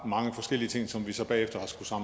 mange forskellige ting som vi så bagefter